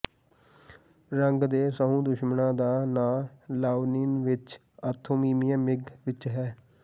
ਰੰਗ ਦੇ ਸਹੁੰ ਦੁਸ਼ਮਨਾਂ ਦਾ ਨਾਂ ਲਾਓਨੀਨ ਵਿੱਚ ਆਥੋਮੀਮੀਆ ਮਿਗ ਵਿੱਚ ਹੈ